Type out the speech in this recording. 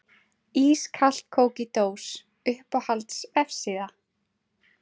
Ískalt kók í dós Uppáhalds vefsíða?